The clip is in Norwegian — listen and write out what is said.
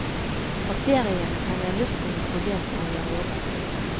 Bakteriene trenger luft og nitrogen for å gjøre jobben.